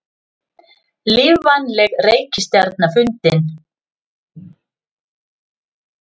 Lífvænleg reikistjarna fundin